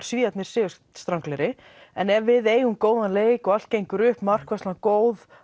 Svíar sigurstranglegri en ef við eigum góðan leik og allt gengur upp markvarslan góð